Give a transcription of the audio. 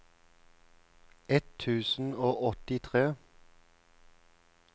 ett tusen og åttitre